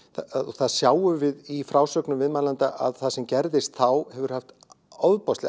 það sjáum við í frásögnum viðmælenda að það sem gerðist þá hefur haft ofboðsleg